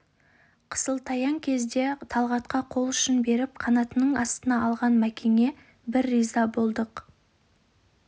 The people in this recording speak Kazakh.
қысылтаяң кезде талғатқа қол ұшын беріп қанатының астына алған мәкеңе біз риза болдық